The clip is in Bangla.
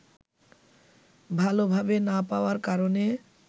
ভালভাবে না পাওয়ার কারণে